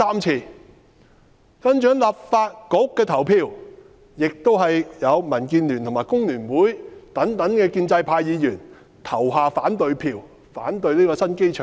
"接着在立法局投票，亦有民主建港協進聯盟及香港工會聯合會等建制派議員投下反對票，反對興建新機場。